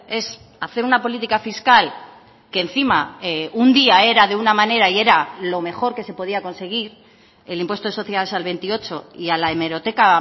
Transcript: es hacer una política fiscal que encima un día era de una manera y era lo mejor que se podía conseguir el impuesto de sociedades al veintiocho y a la hemeroteca